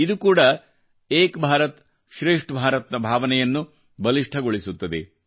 ಇದು ಕೂಡಾ ಏಕ್ ಭಾರತ್ಶ್ರೇಷ್ಠ ಭಾರತ್ ನ ಭಾವನೆಯನ್ನು ಬಲಿಷ್ಠಗೊಳಿಸುತ್ತದೆ